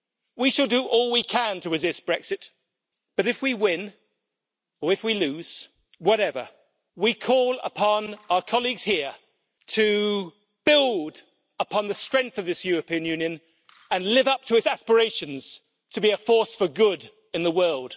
We should do all we can to resist Brexit. But if we win or if we lose, whatever, we call upon our colleagues here to build upon the strength of this European Union and live up to its aspirations to be a force for good in the world.